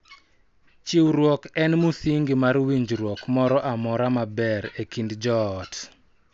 Chiwruok en musingi mar winjruok moro amora maber e kind joot,